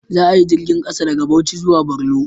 Za a yi jirgin ƙasa daga Bauchi zuwa Borno